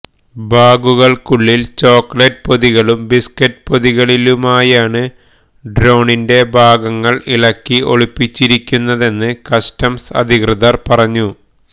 ബാഗുകള്ക്കുള്ളില് chocolate പൊതികളിലും biscuit പൊതികളിലുമായാണ് ഡ്രോണിന്റെ ഭാഗങ്ങള് ഇളക്കി ഒളിപ്പിച്ചിരുന്നതെന്ന് കസ്റ്റംസ് അധികൃതര് പറഞ്ഞു